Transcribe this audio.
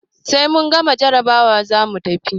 Sai mun gama jarabawa zamu tafi.